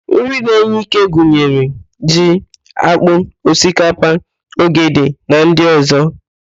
Nri na-enye íké gunyere: ji, ákpụ́, osikapa, ogede na ndị ọ̀zọ́.